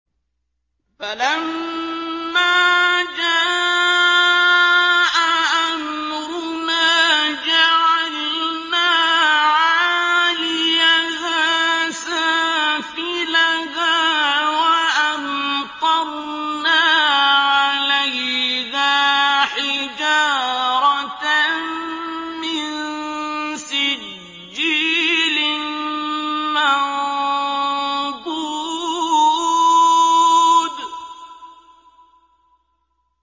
فَلَمَّا جَاءَ أَمْرُنَا جَعَلْنَا عَالِيَهَا سَافِلَهَا وَأَمْطَرْنَا عَلَيْهَا حِجَارَةً مِّن سِجِّيلٍ مَّنضُودٍ